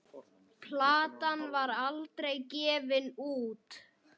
Platan var aldrei gefin út.